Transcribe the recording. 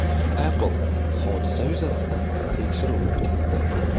Apple hodisa yuzasidan tekshiruv o‘tkazdi.